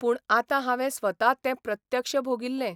पूण आतां हावें स्वता तें प्रत्यक्ष भोगिल्लें.